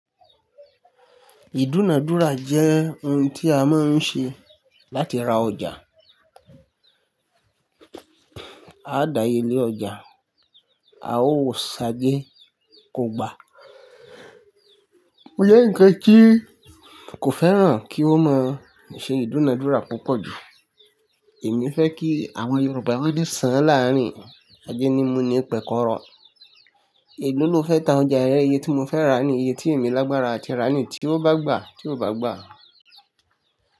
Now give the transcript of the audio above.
Ìdúnadúrà jẹ́ ohun tí a máa ń ṣe láti ra ọjà. A ó daye lé ọjà, a ó ṣajé kó gba. Bóyá nkán tí kò fẹ́ràn kí ó máa ṣe ìdúnadúrà púpọ̀ jù. Èmi fẹ́ kí àwọn Yorùbá wọ́n ní sán láàárín ajénímù ní pẹ̀kọ́rọ̀. Èlò ló fẹ́ ta ọjà rẹ, iye tí mo fẹ́ rà ní iye tí èmi lágbára a ti rà ní tí ó bá gbà tí ò bá gbà.